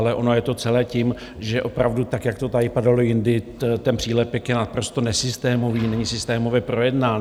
Ale ono je to celé tím, že opravdu tak, jak to tady padalo jindy, ten přílepek je naprosto nesystémový, není systémově projednán.